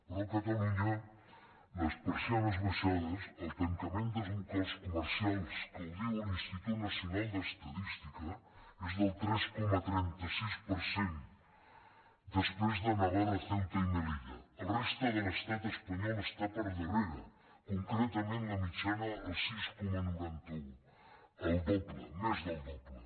però a catalunya les persianes abaixades el tancament dels locals comercials que ho diu l’institut nacional d’estadística és del tres coma trenta sis per cent després de navarra ceuta i melilla la resta de l’estat espanyol està per darrere concretament la mitjana el sis coma noranta un el doble més del doble